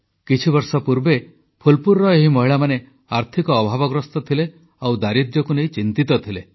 କିଛିବର୍ଷ ପୂର୍ବେ ଫୁଲପୁରର ଏହି ମହିଳାମାନେ ଆର୍ଥିକ ଅଭାବଗ୍ରସ୍ତ ଥିଲେ ଆଉ ଦାରିଦ୍ର୍ୟକୁ ନେଇ ଚିନ୍ତିତ ଥିଲେ